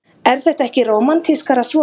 Er þetta ekki rómantískara svona?